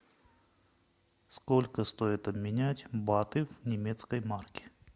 сколько стоит обменять баты в немецкой марке